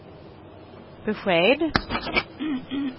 besked